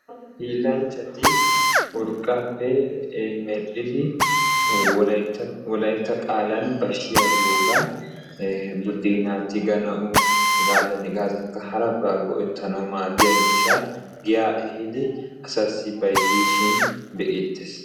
hiilanchchati urqaappe wolaytta qaalan bashiya giyoogaa ikka budeenaa tigganawu maadiya miishshaa giyaa ehiidi asaassi bayzzishin be'eetees.